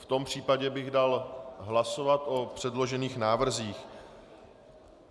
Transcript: V tom případě bych dal hlasovat o předložených návrzích.